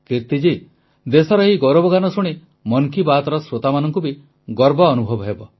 କିର୍ତୀ ଦେଶର ଏହି ଗୌରବଗାନ ଶୁଣି ମନ କି ବାତ୍ର ଶ୍ରୋତାମାନଙ୍କୁ ବି ଗର୍ବ ଅନୁଭବ ହେବ